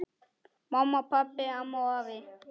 Mamma, pabbi, amma og afi.